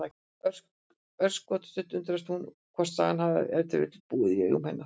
Örskotsstund undrast hún hvort sagan hafi ef til vill búið í augum hennar.